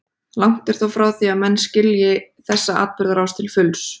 Langt er þó frá því að menn skilji þessa atburðarás til fulls.